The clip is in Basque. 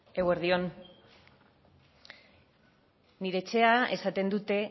eguerdi on nire etxean esaten dute